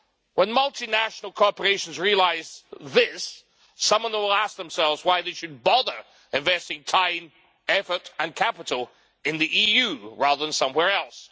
When multinational corporations realise this, some of them will ask themselves why they should bother investing time, effort, and capital in the EU rather than somewhere else.